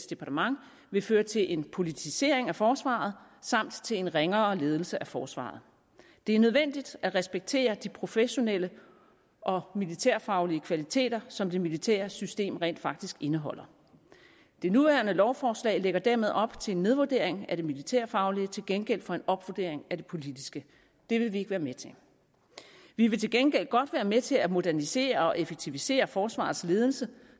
departement vil føre til en politisering af forsvaret samt til en ringere ledelse af forsvaret det er nødvendigt at respektere de professionelle og militærfaglige kvaliteter som det militære system rent faktisk indeholder det nuværende lovforslag lægger dermed op til en nedvurdering af det militærfaglige til gengæld for en opvurdering af det politiske det vil vi ikke være med til vi vil til gengæld godt være med til at modernisere og effektivisere forsvarets ledelse